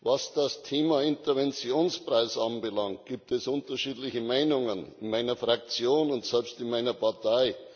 Was das Thema Interventionspreis anbelangt, gibt es unterschiedliche Meinungen in meiner Fraktion und selbst in meiner Partei.